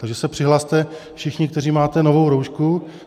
Takže se přihlaste všichni, kteří máte novou roušku.